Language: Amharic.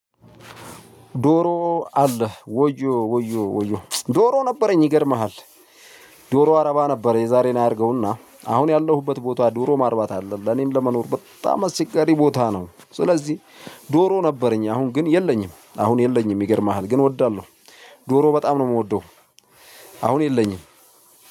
ዶሮ አለህ ወዮ ወዮ ወዮ ዶሮ ነበረኝ ይገርምሃል። ዶሮ አረባ ነበር የዛሬን አያርገውና አሁን ያለሁበት ቦታ ዶሮ ማርባት አይደለም ለኔም ለመኖር በጣም አስቸጋሪ ቦታ ነው። ስለዚህ ዶሮ ነበረኝ አሁን ግን የለኝም አሁን የለኝም ይገርምሃል ግን እወዳለሁ። ዶሮ በጣም ነው የምወደው። አሁን የለኝም።